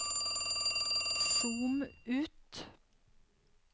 zoom ut